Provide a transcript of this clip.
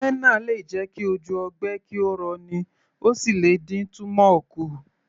Henna lè jẹ ki ojú ogbe kí ó rọ ní, ó sì lè dín túmọ̀ kù